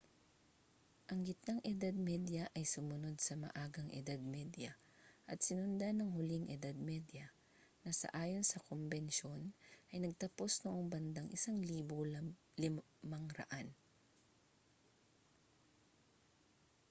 ang gitnang edad medya ay sumunod sa maagang edad medya at sinundan ng hulihang edad medya na sa ayon sa kombensyon ay nagtapos noong bandang 1500